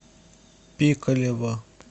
пикалево